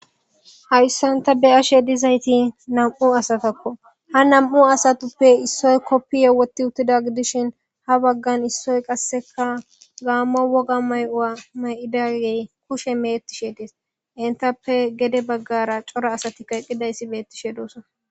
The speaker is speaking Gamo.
Hawissanta beyashe dizayti nam'u asatakko ha nam'u asatappe issoy koppi yewoti uttida gidishin ha baggan issoy qasseka gaammo woga may'ua may'idagey kushe meettishe dees intappe gede baggara cora asati kaeqqidayssi beettishe doossa.